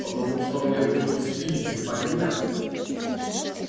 потому что мне нужен спиди понятно